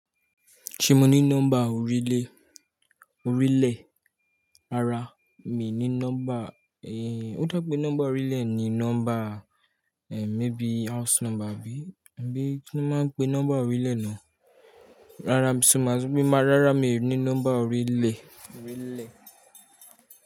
Ṣé mo ní nọ́mbà orílè, orílẹ̀ ara mi ní nọ́mbà, ó dá pé nọ́mbà orílẹ̀ ni nọ́mbà, maybe house number bi, bí kí wón máa ń pe nọ́mbà orílẹ̀ náà. Rárá, mio ní nọ́mbà orílẹ̀, orílẹ̀